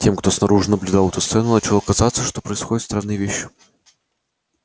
но тем кто снаружи наблюдал эту сцену начало казаться что происходят странные вещи